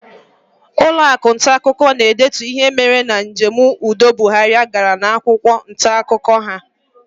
Ụlọọrụ akwụkwọ ntaakụkọ ga-edetu ihe mere na njem udo Buhari gara n'akwụkwọ ntaakụkọ ha.